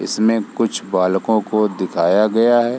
इसमें कुछ बालकों को दिखाया गया है।